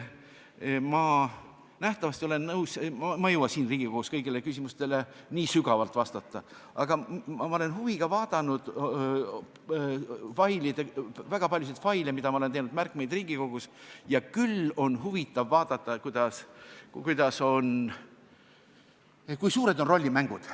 Ma ei jõua siin Riigikogus kõigile küsimustele nii sügavalt vastata, aga olen huviga vaadanud väga paljusid faile, mis sisaldavad minu tehtud märkmeid Riigikogus toimunu kohta, ja küll on huvitav vaadata, kui suured on rollimängud.